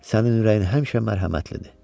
Sənin ürəyin həmişə mərhəmətlidir.